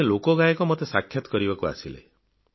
ଜଣେ ଲୋକଗାୟକ ମୋତେ ସାକ୍ଷାତ୍ କରିବାକୁ ଆସିଲେ